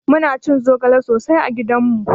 Muna cin zogale sosai a gidanmu